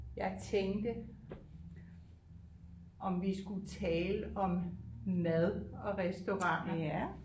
Jeg tænkte om vi skulle tale om mad og restauranter